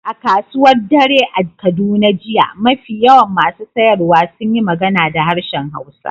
A kasuwar dare a Kaduna jiya, mafi yawan masu sayarwa sun yi magana da harshen Hausa.